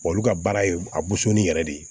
olu ka baara ye a busonni yɛrɛ de ye